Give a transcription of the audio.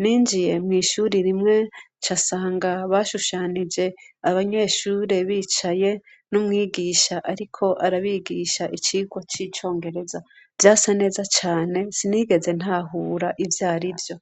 Ninjiye mw'ishuri rimwe nca nsanga bashushanije abanyeshuri bicaye n'umwigisha ariko arabigisha icigwa c'Icongereza. Vyasa neza cane, sinigeze ntahura ivyarivyo.